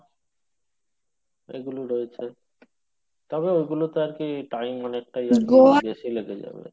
এগুলো রয়েছে তবে ওগুলোতে আরকি time অনেকটা আরকি বেশি লেগে যাবে।